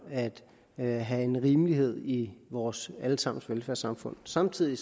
at have en rimelighed i vores alle sammens velfærdssamfund samtidig